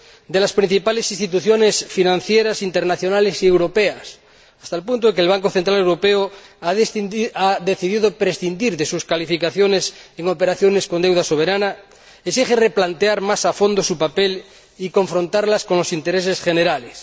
de las principales instituciones financieras internacionales y europeas —hasta el punto de que el Banco Central Europeo ha decidido prescindir de sus calificaciones en operaciones con deuda soberana exigen replantear más a fondo su papel y confrontarlas con los intereses generales.